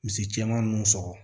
Misi cɛman nunnu sɔgɔ